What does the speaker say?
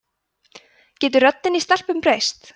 getur röddin í stelpum breyst